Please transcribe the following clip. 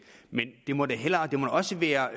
men det må da også være